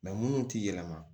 minnu ti yɛlɛma